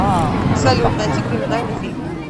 салют найти криминальный фильм